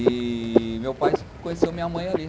E meu pai conheceu minha mãe ali.